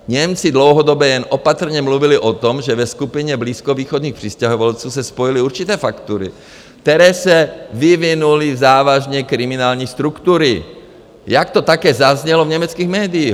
Němci dlouhodobě jen opatrně mluvili o tom, že ve skupině blízkovýchodních přistěhovalců se spojily určité faktory (?), které se vyvinuly v závažně kriminální struktury, jak to také zaznělo v německých médiích.